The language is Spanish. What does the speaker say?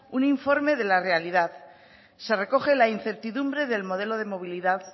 un informe de la realidad se recoge la incertidumbre del modelo de movilidad